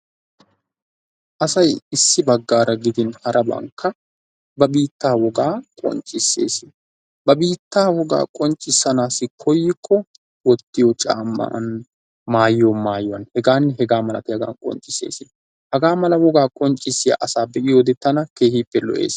Asay issi baggaara gidin harabankka ba biitta wogaa qoccissees. Ba biittaa wogaa qonccissanaassi koyyikko wottiyo caamman, maayiyo maayuwan, hegaanne hegaa malatiyaban qoccissees. Hagaa mala wogaa qonccissiya asaa be'iyode tana keehippe lo''ees.